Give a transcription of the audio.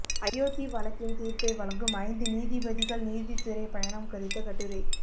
அயோத்தி வழக்கின் தீர்ப்பை வழங்கும் ஐந்து நீதிபதிகள் நீதித்துறை பயணம் குறித்த கட்டுரை